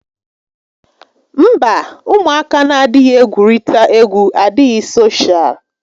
Mba, ụmụaka n'adịghị egwurita égwú adịghị soshaal